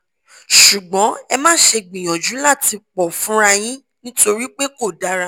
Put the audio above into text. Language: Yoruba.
ṣùgbọ́n ẹ má ṣe gbìyànjú láti pọ fúnra yín nítorí pé kò dára